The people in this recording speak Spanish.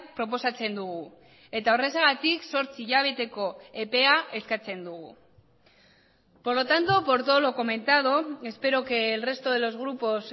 proposatzen dugu eta horrexegatik zortzi hilabeteko epea eskatzen dugu por lo tanto por todo lo comentado espero que el resto de los grupos